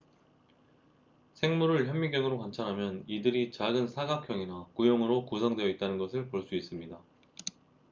생물을 현미경으로 관찰하면 이들이 작은 사각형이나 구형으로 구성되어 있다는 것을 볼 수 있습니다